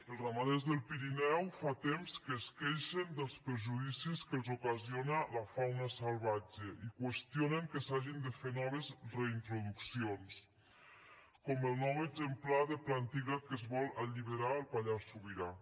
els ramaders del pirineu fa temps que es queixen dels perjudicis que els ocasiona la fauna salvatge i qüestionen que s’hagin de fer noves reintroduccions com el nou exemplar de plantígrad que es vol alliberar al pallars sobirà